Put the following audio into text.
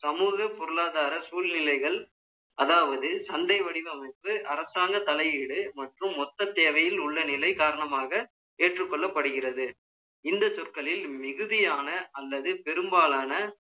சமூக பொருளாதார சூழ்நிலைகள், அதாவது, சந்தை வடிவமைப்பு, அரசாங்க தலையீடு, மற்றும் மொத்த தேவையில் உள்ள நிலை காரணமாக, ஏற்றுக்கொள்ளப்படுகிறது. இந்த சொற்களில், மிகுதியான, அல்லது பெரும்பாலான,